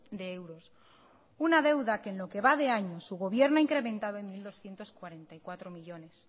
de euros una deuda que en lo que va de año su gobierno ha incrementado en mil doscientos cuarenta y cuatro millónes